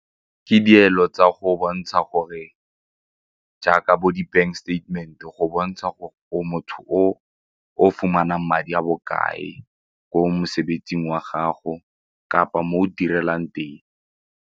Ke dielo tsa go bontsha gore jaaka bo di-bank statement go bontsha o motho o o fumanang madi a bokae ko mosebetsing wa gago kapa mo o direlang teng.